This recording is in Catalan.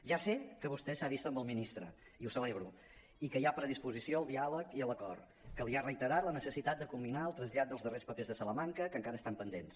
ja sé que vostè s’ha vist amb el ministre i ho celebro i que hi ha predisposició al diàleg i a l’acord que li ha reiterat la necessitat de culminar el trasllat dels darrers papers de salamanca que encara estan pendents